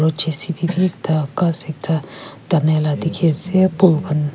aro J C B bi ekta ghas ekta tanaila dikhi ase phul khan.